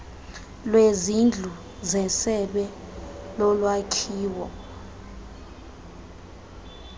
lwezindlu zesebe lolwakhiwo